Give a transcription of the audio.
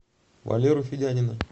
валеру федянина